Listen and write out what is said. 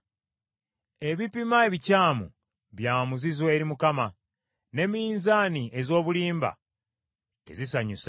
Ebipima ebikyamu bya muzizo eri Mukama , ne minzaani ez’obulimba tezisanyusa.